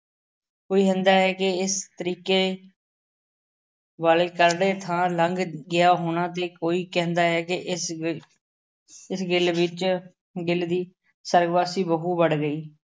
ਕੋਈ ਹੁੰਦਾ ਹੈ ਕਿ ਇਸ ਤਰੀਕੇ ਵਾਲੇ ਚੜ੍ਹਦੇ ਥਾਂ ਲੰਘ ਗਿਆਂ ਹੋਣਾ ਅਤੇ ਕੋਈ ਕਹਿੰਦਾ ਹੈ ਕਿ ਇਸ ਵਿੱਚ ਗਿੱਲ ਵਿੱਚ ਗਿੱਲ ਦੀ ਸਰਵਗਵਾਸੀ ਬਹੂ ਵੜ ਗਈ।